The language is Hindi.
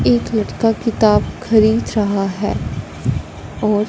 एक लड़का किताब खरीद रहा है और--